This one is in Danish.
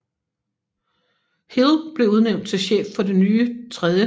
Hill blev udnævnt til chef for det nye 3